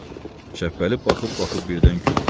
Şəppəli baxıb-baxıb birdən güldü.